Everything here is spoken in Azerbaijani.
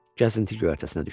Gəzinti göyərtəsinə düşdü.